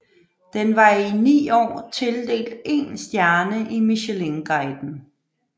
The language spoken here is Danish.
Den var i ni år tildelt én stjerne i Michelinguiden